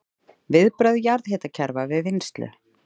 Viðbrögð jarðhitakerfa við vinnslu